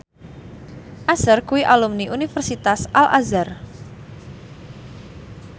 Usher kuwi alumni Universitas Al Azhar